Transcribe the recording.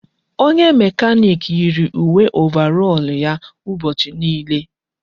Onye mekanik yiiri uwe ovarọl ya ụbọchị niile.